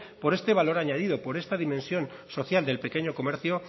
por este valor añadido por esta dimensión social del pequeño comercio